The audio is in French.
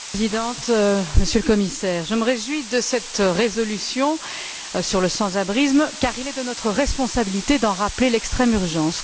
Madame la Présidente, Monsieur le Commissaire, je me réjouis de cette résolution sur le sans abrisme, car il est de notre responsabilité d'en rappeler l'extrême urgence.